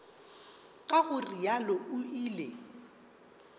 ka go realo o ile